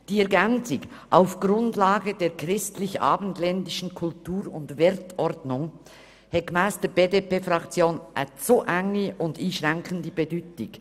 Die Ergänzung «…auf Grundlage der christlich-abendländischen Kultur und Wertordnung» hat gemäss der BDP-Fraktion eine zu enge und einschränkende Bedeutung.